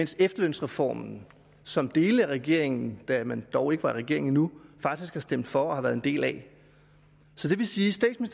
til efterlønsreformen som dele af regeringen da man dog ikke var regering endnu faktisk har stemt for og været en del af så det vil sige